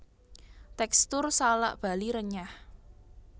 Tekstur salak Bali renyah